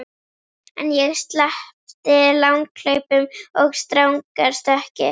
En ég sleppti langhlaupum og stangarstökki.